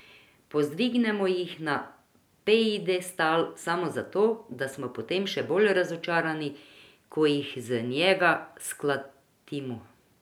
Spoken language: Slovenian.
Povzdignemo jih na piedestal samo zato, da smo potem še bolj razočarani, ko jih z njega sklatimo.